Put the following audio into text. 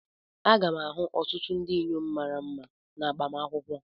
M ga-ahụ ọtụtụ ndị inyom mara mma na agbamakwụkwọ.